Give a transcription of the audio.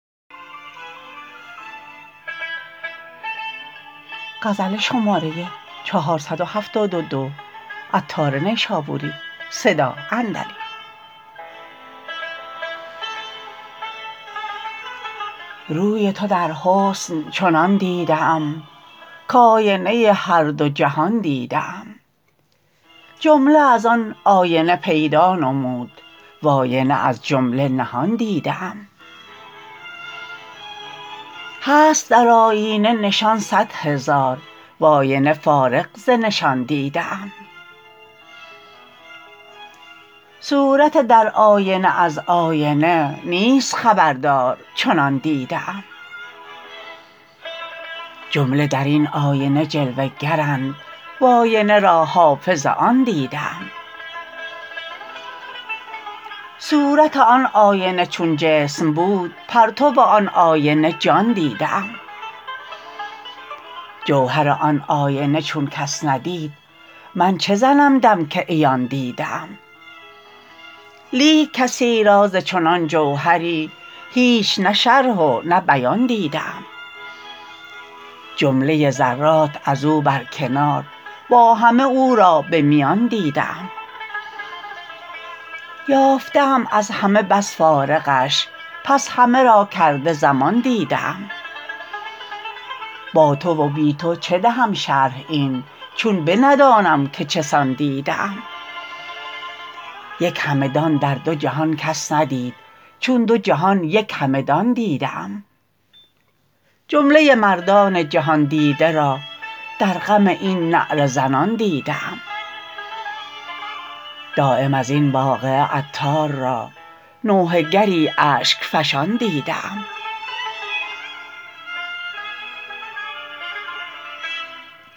روی تو در حسن چنان دیده ام کاینه هر دو جهان دیده ام جمله از آن آینه پیدا نمود واینه از جمله نهان دیده ام هست در آیینه نشان صد هزار واینه فارغ ز نشان دیده ام صورت در آینه از آینه نیست خبردار چنان دیده ام جمله درین آینه جلوه گرند واینه را حافظ آن دیده ام صورت آن آینه چون جسم بود پرتو آن آینه جان دیده ام جوهر آن آینه چون کس ندید من چه زنم دم که عیان دیده ام لیک کسی را ز چنان جوهری هیچ نه شرح و نه بیان دیده ام جمله ذرات ازو بر کنار با همه او را به میان دیده ام یافته ام از همه بس فارغش پس همه را کرده ضمان دیده ام با تو و بی تو چه دهم شرح این چون به ندانم که چه سان دیده ام یک همه دان در دو جهان کس ندید چون دو جهان یک همه دان دیده ام جمله مردان جهان دیده را در غم این نعره زنان دیده ام دایم ازین واقعه عطار را نوحه گری اشک فشان دیده ام